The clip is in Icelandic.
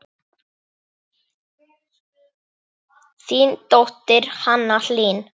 Þín dóttir, Hanna Hlín.